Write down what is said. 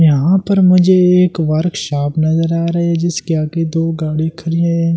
यहां पर मुझे एक वर्कशॉप नजर आ रहा है जिसके आगे दो गाड़ी खड़ी है।